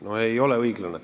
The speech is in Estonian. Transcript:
No ei ole õiglane.